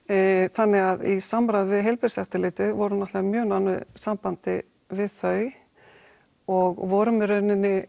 þannig í samráði við Heilbrigðiseftirlitið vorum náttúrulega í mjög nánu sambandi við þau og vorum í rauninni